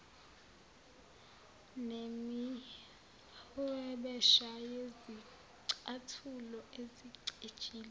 nemihwebesha yezicathulo ezicijile